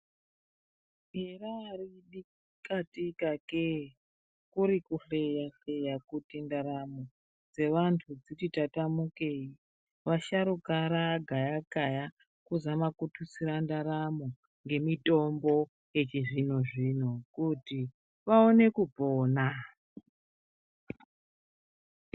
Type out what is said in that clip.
Hera bika tika kee kuri kupeya peya kuti ndaramo dzevantu dziti tatamukei vasharuka ragaya kaya kuzama kututsira ndaramo ngemitombo yechizvino zvino kuti vaone kupona.